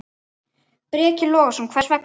Breki Logason: Hvers vegna?